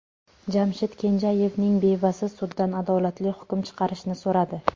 Jamshid Kenjayevning bevasi suddan adolatli hukm chiqarishni so‘radi.